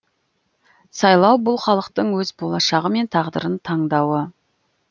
сайлау бұл халықтың өз болашағы мен тағдырын таңдауы